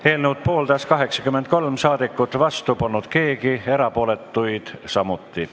Hääletustulemused Eelnõu pooldas 83 saadikut, vastu polnud keegi, erapooletuid polnud samuti.